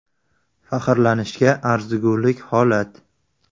Faxrlanishga arzigulik holat.